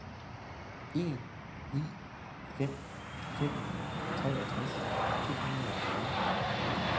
en ni fem fem treogtres to hundrede og fyrre